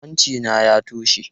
Hanci na ya toshe.